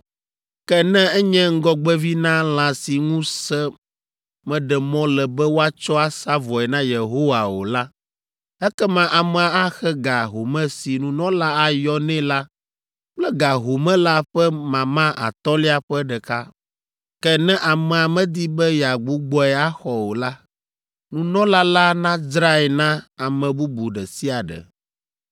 Ke ne enye ŋgɔgbevi na lã si ŋu se meɖe mɔ le be woatsɔ asa vɔe na Yehowa o la, ekema amea axe ga home si nunɔla ayɔ nɛ la kple ga home la ƒe mama atɔ̃lia ƒe ɖeka. Ke ne amea medi be yeagbugbɔe axɔ o la, nunɔla la nadzrae na ame bubu ɖe sia ɖe.